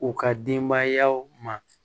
U ka denbayaw ma